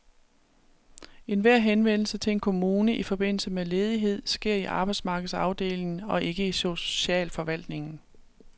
Enhver henvendelse til en kommune i forbindelse med ledighed sker i arbejdsmarkedsafdelingen og ikke i socialforvaltningen.